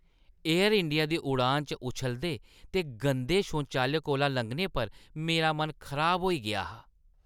Air India दी उड़ान च उच्छलदे ते गंदे शौचालय कोला लंघने पर मेरा मन खराब होई गेआ हा।